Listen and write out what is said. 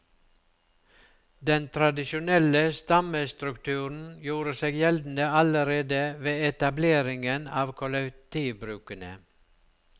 Den tradisjonelle stammestrukturen gjorde seg gjeldende allerede ved etableringen av kollektivbrukene.